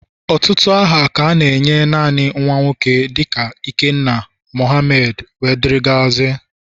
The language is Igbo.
Ọtụtụ aha ka a na-enye naanị nwa nwoke dịka ikenna, Mohamed wdg